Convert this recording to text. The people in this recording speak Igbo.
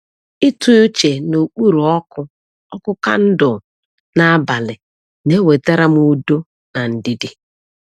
Ịtụ uche n’okpuru ọkụ ọkụ kandụl n’abalị na-ewetara m udo na ndidi.